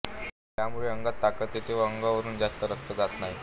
त्यामुळे अंगात ताकत येते व अंगावरून जास्त रक्त जात नाही